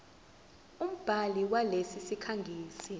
umbhali walesi sikhangisi